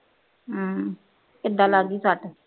ਹਮ ਕਿਦਾ ਲੱਗ ਗੀ ਸੱਟ